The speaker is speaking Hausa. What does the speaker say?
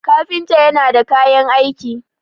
kafinta yana da kayan aiki